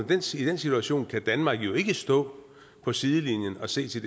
den situation kan danmark jo ikke stå på sidelinjen og se til